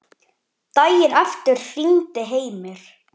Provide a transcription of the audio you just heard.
Daginn eftir hringdi Heimir.